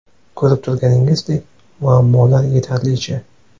Ko‘rib turganingizdek muammolar yetarlicha.